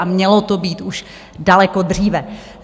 Ale mělo to být už daleko dříve.